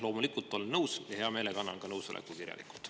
Loomulikult olen nõus ja hea meelega annan nõusoleku ka kirjalikult.